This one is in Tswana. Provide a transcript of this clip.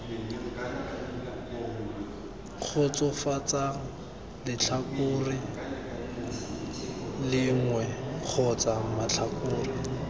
kgotsofatsang letlhakore lengwe kgotsa matlhakore